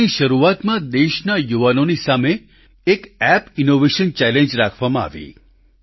આ મહિનાની શરૂઆતમાં દેશના યુવાનોની સામે એક એપ ઈનોવેશન ચેલેન્જ રાખવામાં આવી